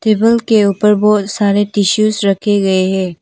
Table के ऊपर बहुत सारे टिश्यूज़ रखे गए है।